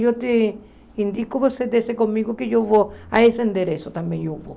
Eu te indico, você desce comigo que eu vou a esse endereço também, eu vou.